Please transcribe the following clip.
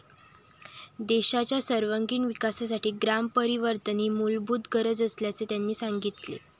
देशाच्या सर्वांगिण विकासासाठी ग्रामपरिवर्तन ही मूलभूत गरज असल्याचे त्यांनी सांगितले.